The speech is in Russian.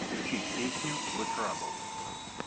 включи песню зе траблс